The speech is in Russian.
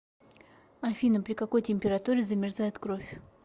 афина при какой температуре замерзает кровь